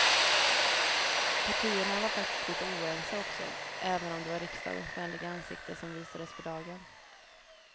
Partierna var faktiskt lite oense också, även om det var riksdagens vänliga ansikte som visades för dagen.